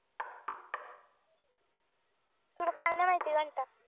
तुला काय नाही माहिती घंटा